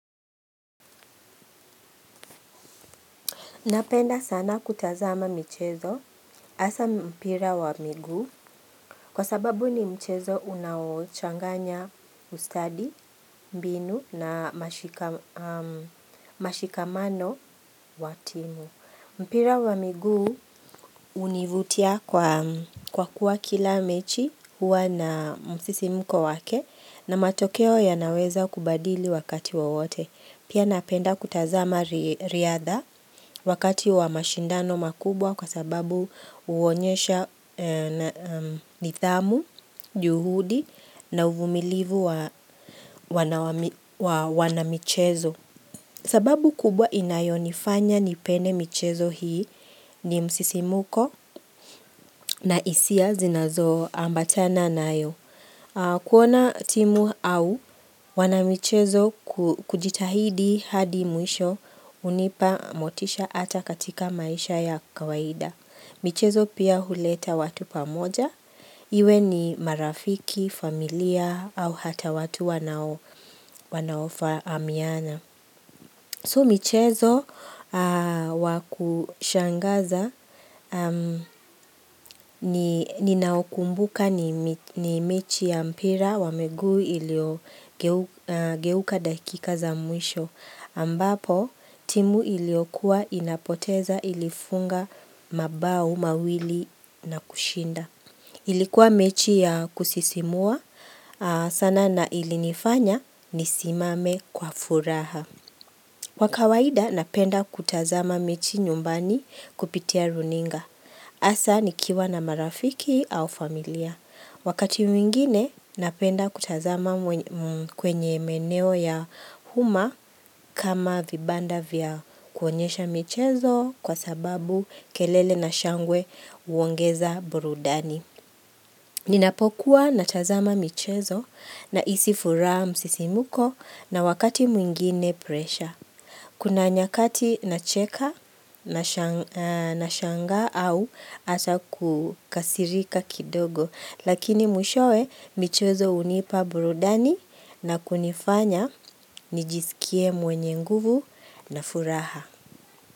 Napenda sana kutazama michezo, haswa mpira wa miguu, kwa sababu ni mchezo unaochanganya ustadi, mbinu na mashika mashikamano wa timu. Mpira wa miguu hunivutia kwa kwa kuwa kila mechi huwa na msisimuko wake na matokeo yanaweza kubadili wakati wowote. Pia napenda kutazama ri riadha wakati wa mashindano makubwa kwa sababu huonyesha nithamu, juhudi na uvumilivu wa wanawami wanamichezo. Sababu kubwa inayonifanya nipende michezo hii ni msisimuko na hisia zinazoambatana nayo. Kuona timu au wanamichezo kujitahidi hadi mwisho hunipa motisha ata katika maisha ya kawaida. Michezo pia huleta watu pamoja, iwe ni marafiki, familia au hata watu wanaofa wanaofahamiana. So michezo wakushangaza ninaokumbuka ni mechi ya mpira wa miguu iliyogeuka geuka dakika za mwisho ambapo timu ilio kuwa inapoteza ilifunga mabao mawili na kushinda. Ilikuwa mechi ya kusisimua sana na ilinifanya nisimame kwa furaha. Kwa kawaida napenda kutazama mechi nyumbani kupitia runinga. Hasa nikiwa na marafiki au familia. Wakati mwingine napenda kutazama mwenye kwenye meneo ya uma kama vibanda vya kuonyesha michezo kwa sababu kelele na shangwe huongeza burudani. Ninapokuwa natazama michezo nahisi furaha, msisimuko na wakati mwingine presha. Kuna nyakati nacheka nasha nashangaa au ata kukasirika kidogo. Lakini mwishoe michezo hunipa burudani na kunifanya nijisikie mwenye nguvu na furaha.